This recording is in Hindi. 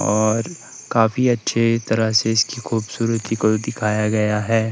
और काफी अच्छी तरह से इसकी खूबसूरती को भी दिखाया गया है।